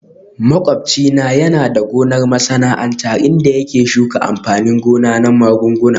Makwabci na yana da gonar masana'antu inda yake shuka amfanin gona na magunguna